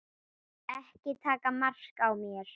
Ekki taka mark á mér.